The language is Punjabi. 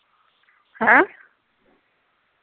ਹੈਂ